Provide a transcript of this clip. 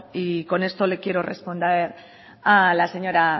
y con esto le quiero responder a la señora